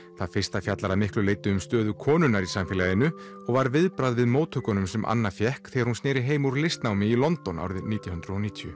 það fyrsta fjallar að miklu leyti til um stöðu konunnar í samfélaginu og var viðbragð við móttökunum sem Anna fékk þegar hún sneri heim úr listnámi í London árið nítján hundruð og níutíu